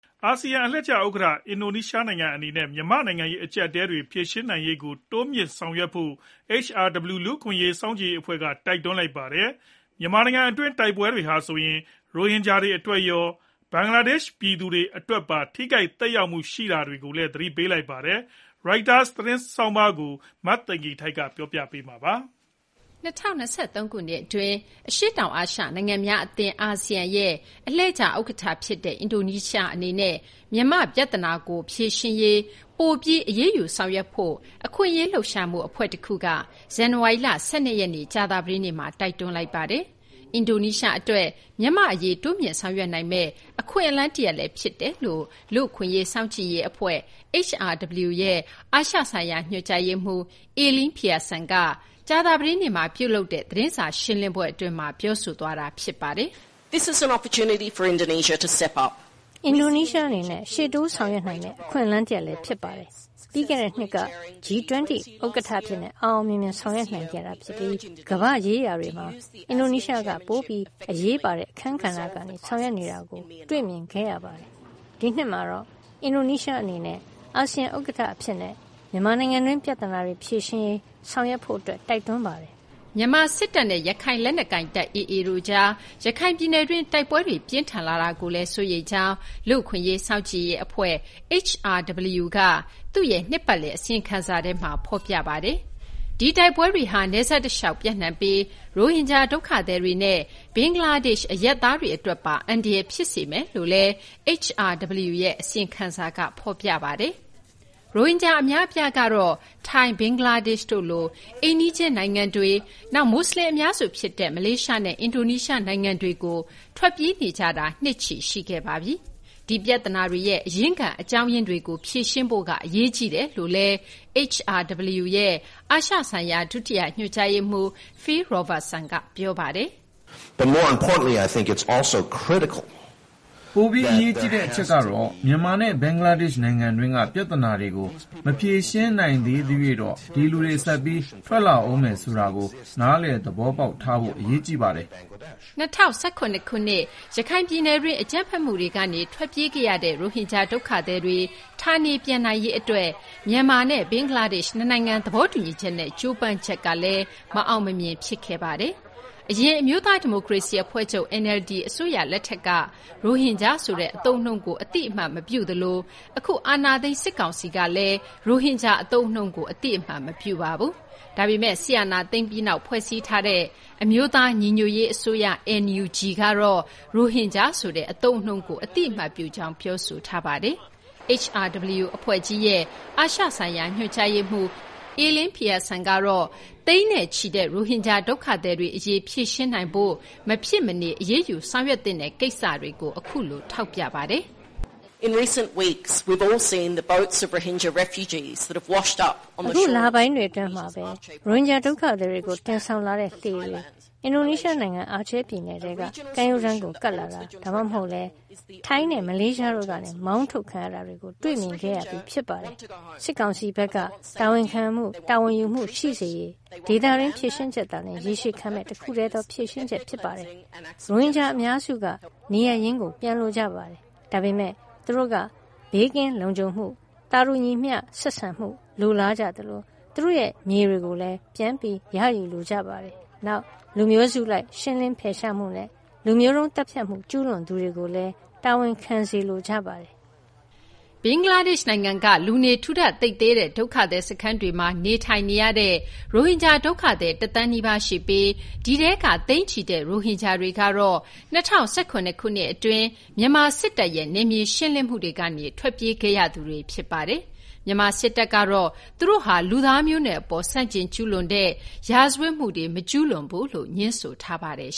အာဆီယံအလှည့်ကျဥက္ကဋ္ဌ အင်ဒိုနီးရှားနိုင်ငံအန ဲ့ မြန်မာ့နိုင်ငံရေးအကြပ်အတည်းတွေ ဖြေရှင်းနိုင်ရေးကိုတိုးမြှင့်ဆောင်ရွက်ဖို့ HRW လူ့အခွင့်အရေး စောင့်ကြည့်ရေးအဖွဲ့က တိုက်တွန်းလိုက်ပါတယ်။ မြန်မာနိုင်ငံတွင်း တိုက်ပွဲတွေဟာဆိုရင် ရိုဟင်ဂျာတွေအတွက်ရော ဘင်္ဂလားဒေ့ရှ် ပြည်သူတွေအတွက်ပါ ထိခိုက်သက်ရောက်မှုရှိနေတာကိုလည်း သတိပေးလိုက်ပါတယ်။ Reuters သတင်းဆောင်းပါးကို မသိင်္ဂီထိုက်က တင်ပြပေးထားပါတယ်။ ၂၀၂၃ ခုနှစ်အတွင်း အရှေ့တောင်အာရှနိုင်ငံများအသင်း အာဆီယံရဲ့အလှည့်ကျဥက္ကဋ္ဌဖြစ်တဲ့ မြန်မာပြဿနာကိုဖြေရှင်းရေး ပိုပြီးအရေးယူဆောင်ရွက်ဖို့ အခွင့်အရေးလှုပ်ရှားမှုအဖွဲ့ တခုက ဇန်နဝါရီလ ၁၂ ရက် ကြာသပတေးနေ့မှာ တိုက်တွန်းလိုက်ပါတယ်။ အင်ဒိုနီးရှားအတွက် မြန်မာ့အရေးတိုးမြှင့်ဆောင်ရွက်နိုင်မယ့် အခွင့်အလမ်းတရပ်လည်း ဖြစ်တယ်လို့ လူ့အခွင့်အရေးစောင့်ကြည့်ရေးအဖွဲ့ HRW ရဲ့အာရှဆိုင်ရာညွှန်ကြားရေးမှူး Elaine Pearson က ကြာသပတေးနေ့မှာပြုလုပ်တဲ့ သတင်းစာရှင်းလင်းပွဲအတွင်းမှာ ပြောသွားတာဖြစ်ပါတယ်။ ရှေ့တိုးဆောင်ရွက်နိုင်မယ့် အခွင့်အလမ်းတရပ်လည်း ဖြစ်ပါတယ်။ ပြီးခဲ့တဲ့နှစ်က G20 ဥက္ကဋ္ဌအဖြစ် အောင်အောင်မြင်မြင် ဆောင်ရွက်နိုင်ခဲ့ပြီး ကမ္ဘာ့ရေးရာတွေမှာ အင်ဒိုနီးရှားက ပိုပြီးအရေးပါတဲ့အခန်းကဏ္ဍကနေ ဆောင်ရွက်နေတာကို တွေ့မြင်ခဲ့ရပါတယ်။ ဒီနှစ်မှာတော့ အာဆီယံဥက္ကဋ္ဌအဖြစ်နဲ့ မြန်မာနိုင်ငံတွင်း ပြသနာတွေဖြေရှင်းနိုင်ရေး ဆောင်ရွက်ဖို့ တိုက်တွန်းပါတယ်။” မြန်မာစစ်တပ်နဲ့ ရခိုင်လက်နက်ကိုင်တပ် AA တို့ကြား ရခိုင်ပြည်နယ်တွင်း တိုက်ပွဲတွေပြင်းထန်လာတာကိုလည်း စိုးရိမ်ကြောင်း လူ့အခွင့်အရေး စောင့်ကြည့်ရေးအဖွဲ့ HRW က သူ့ရဲ့ နှစ်ပတ်လည်အစီရင်ခံစာထဲမှာ ဖော်ပြထားပါတယ်။ ဒီတိုက်ပွဲတွေဟာ နယ်စပ်တလျှောက် ပျံ့နှံ့ပြီး ရိုဟင်ဂျာဒုက္ခသည်တွေနဲ့ ဘင်္ဂလားဒေ့ရှ်အရပ်သားတွေအတွက်ပါ အန္တရာယ်ဖြစ်စေမယ်လို့လည်း HRW ရဲ့ အစီရင်ခံစာက ဖော်ပြပါတယ်။ ရိုဟင်ဂျာအများအပြားကတော့ ထိုင်း၊ ဘင်္ဂလားဒေ့ရှ်တို့လို အိမ်နီးချင်းနိုင်ငံတွေ၊ နောက် မူဆလင် အများစုဖြစ်တဲ့ မလေးရှားနဲ့ အင်ဒိုနီးရှားနိုင်ငံတွေကို ထွက်ပြေးနေကြတာ နှစ်ချီရှိခဲ့ပါပြီ။ ဒီပြဿနာတွေရဲ့အရင်းခံ အကြောင်းရင်းတွေကို ဖြေရှင်းဖို့ကအရေးကြီးတယ်လို့လည်း HRW ရဲ့ အာရှဆိုင်ရာ ဒုတိယညွှန်ကြားရေးမှူး Phil Robertson က ပြောပါတယ်။ “ပိုပြီး အရေးကြီးတဲ့အချက်ကတော့ မြန်မာနဲ့ ဘင်္ဂလားဒေ့ရှ်နိုင်ငံတွင်းက ပြဿနာတွေကို မဖြေရှင်းနိုင်သရွေ့တော့ ဒီလူတွေ ဆက်ပြီးထွက်လာဦးမယ်ဆိုတာကို နားလည်သဘောပေါက်ထားဖို့က အရေးကြီးပါတယ်။” ၂၀၁၇ ခုနှစ် ရခိုင်ပြည်နယ်တွင်း အကြမ်းဖက်မှုတွေကနေထွက်ပြေးခဲ့ရတဲ့ ရိုဟင်ဂျာဒုက္ခသည်တွေ ဌာနေပြန်နိုင်ရေးအတွက် မြန်မာနဲ့ဘင်္ဂလားဒေ့ရှ် နှစ်နိုင်ငံသဘောတူညီချက်နဲ့ ကြိုးပမ်းချက်လည်း မအောင်မမြင် ဖြစ်ခဲ့ပါတယ်။ အရင် အမျိုးသားဒီမိုကရေစီအဖွဲ့ချုပ် NLD အစိုးရလက်ထက်ကလည်း ရိုဟင်ဂျာဆိုတဲ့အသုံးအနှုန်းကို အသိအမှတ်မပြုသလို အခု အာဏာသိမ်း စစ်ကောင်စီကလည်း ရိုဟင်ဂျာအသုံးအနှုန်းကို အသိအမှတ် မပြုပါဘူး။ ဒါပေမဲ့ စစ်အာဏာသိမ်းပြီးနောက် ဖွဲ့စည်းထားတဲ့ အမျိုးသားညီညွတ်ရေးအစိုးရ NUG ကတော့ ရိုဟင်ဂျာဆိုတဲ့အသုံးအနှုန်းကို အသိအမှတ်ပြုကြောင်း ပြောဆိုထားပါတယ်။ HRW အဖွဲ့ကြီးရဲ့ အာရှ ဆိုင်ရာ ညွှန်ကြားရေးမှူး Elaine Peason ကတော့ သိန်းချီတဲ့ ရိုဟင်ဂျာဒုက္ခသည်အရေး ဖြေရှင်းနိုင်ရေးအတွက် မဖြစ်မနေ အရေးယူဆောင်ရွက်သင့်တဲ့ကိစ္စတွေကို အခုလို ထောက်ပြပါတယ်။ “ဒီလပိုင်းတွေအတွင်းမှာပဲ ရိုဟင်ဂျာဒုက္ခသည်တွေကို တင်ဆောင်လာတဲ့လှေတွေ အင်ဒိုနီးရှားနိုင်ငံ အာချေးပြည်နယ်တွင်းကကမ်းရိုးတန်းကို ကပ်လာတာတွေ၊ ဒါမှမဟုတ်လည်း ထိုင်းနဲ့ မလေးရှားတို့ကနေ မောင်းထုတ်ခံရတာတွေ တွေ့မြင်ခဲ့ရပြီး ဖြစ်ပါတယ်။ စစ်ကောင်စီဘက်က တာဝန်ခံမှု၊ တာဝန်ယူမှုရှိစေရေး ဒေသတွင်း ဖြေရှင်းချက်သာလျင် ရေရှည်ခံမယ့် တခုတည်းသော ဖြေရှင်းချက်ဖြစ်ပါတယ်။ ရိုဟင်ဂျာအများစုက နေရပ်ရင်းကို ပြန်လိုကြပါတယ်။ ဒါပေမဲ့ သူတို့က ဘေးကင်းလုံခြုံမှု၊ သာတူညီမျှဆက်ဆံမှု လိုလားကြသလို သူတို့ရဲ့မြေတွေ ပြန်လည်ရယူလိုကြပါတယ်။ နောက် လူမျိုးစုလိုက် ရှင်းလင်းဖယ်ရှားမှုနဲ့ လူမျိုးတုံးသတ်ဖြတ်မှု ကျူးလွန်သူတွေကိုလည်း တာဝန်ခံစေလိုကြပါတယ်။ ဘင်္ဂလားဒေ့ရှ်နိုင်ငံက လူနေထူထပ်သိပ်သည်းတဲ့ ဒုက္ခသည်စခန်းတွေမှာ နေထိုင်နေရတဲ့ ရိုဟင်ဂျာဒုက္ခသည် ၁ သန်းနီးပါး ရှိပြီး ဒီထဲက သိန်းချီတဲ့ ရိုဟင်ဂျာတွေကတော့ ၂၀၁၇ ခုနှစ်အတွင်း မြန်မာစစ်တပ်ရဲ့နယ်မြေရှင်းလင်းမှုတွေကနေ ထွက်ပြေးခဲ့ကြရသူတွေ ဖြစ်ပါတယ်။ မြန်မာစစ်တပ်ကတော့ သူတို့ဟာ လူသားမျိုးနွယ်အပေါ် ဆန့်ကျင်ကျူးလွန်တဲ့ရာဇဝတ်မှုတွေ မကျူးလွန်ကြောင်း ငြင်းဆိုထားပါတယ်